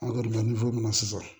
An kɔni bɛ na sisan